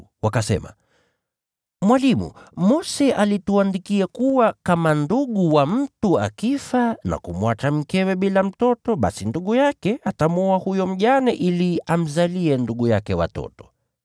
wakasema, “Mwalimu, Mose alituandikia kuwa kama ndugu wa mtu akifa na kumwacha mkewe bila mtoto, basi huyo mtu inampasa amwoe huyo mjane ili amzalie ndugu yake watoto.